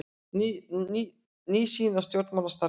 Ný sýn á stjórnmálastarfið